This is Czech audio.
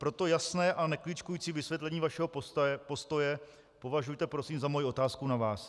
Proto jasné a nekličkující vysvětlení vašeho postoje považujte prosím za moji otázku na vás.